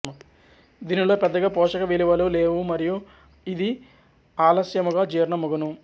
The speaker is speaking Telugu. దీనిలో పెద్దగా పోషక విలువలు లేవు మరియూ ఇది ఆలశ్యముగా జీర్ణమగును